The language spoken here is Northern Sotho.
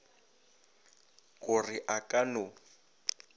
go re a ka no